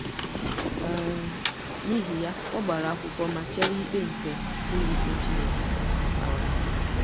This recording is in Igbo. um N’ihi ya, ọ gbara akwụkwọ ma chere ikpe nke ụlọikpe Chineke um.